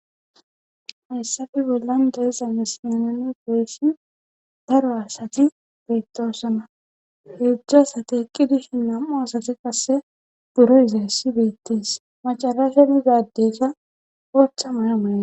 hayssafe bollan deezana senene goyssin daro asati beettosona heejzju asate eqqi dishi nam7u asati qasse buro izayssi beettees macara sheni gaaddeza oochcha may7a mayna